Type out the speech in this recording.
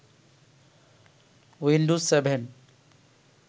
Windows seven